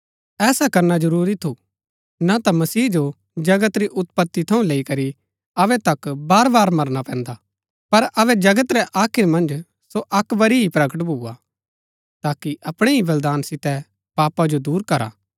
ऐसा करना जरूरी थू ना ता मसीह जो जगत री उत्पति थऊँ लैई करी अबै तक बारबार मरना पैन्दा पर अबै जगत रै आखिर मन्ज सो अक्क बरी ही प्रकट भुआ ताकि अपणै ही बलिदान सितै पापा जो दूर करा